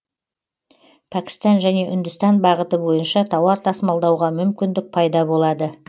пәкістан және үндістан бағыты бойынша тауар тасымалдауға мүмкіндік пайда болады